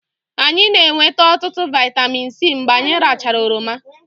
anyị na-enweta ọtụtụ vitamin C mgbe anyị rachara oroma